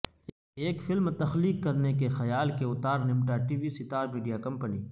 ایک فلم تخلیق کرنے کے خیال کے اوتار نمٹا TV star media company